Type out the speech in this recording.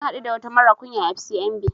Na haɗu da wata mara kunya à FCMB